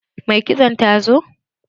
Mai kitson ta zo?